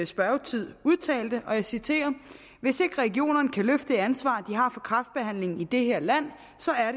spørgetid udtalte og jeg citerer hvis ikke regionerne kan løfte det ansvar de har for kræftbehandlingen i det her land